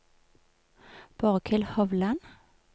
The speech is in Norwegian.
Borghild Hovland